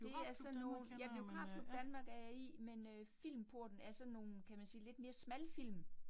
Det er sådan noget, ja Biografklub Danmark er jeg i, men øh Filmporten er sådan nogle kan man sige lidt mere smalfilm